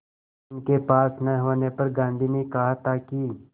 उनके पास न होने पर गांधी ने कहा था कि